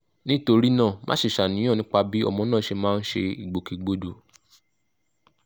nítorí náà má ṣe ṣàníyàn nípa bí ọmọ náà ṣe máa ń ṣe ìgbòkègbodò